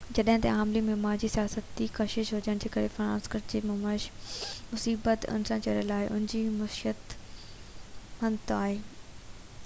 جڏهن ته عالمي معيار جي سياحتي ڪشش هجڻ ڪري سين فرانسسکو جي معيشت ان سان جڙيل آهي ان جي معيشت متنوع آهي